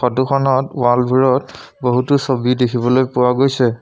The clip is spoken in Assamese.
ফটোখনত ৱালবোৰত বহুতো ছবি দেখিবলৈ পোৱা গৈছে।